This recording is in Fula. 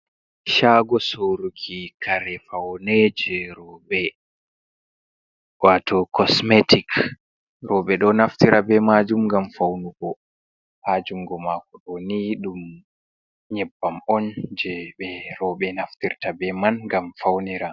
Shago soruki kare faune jei rooɓe wato cosmetics, rooɓe ɗo naftira be majum ngam faunugo ha jungu maku ɗo ni ɗum nyebbam on jei ɓe roɓe naftirta be man ngam faunira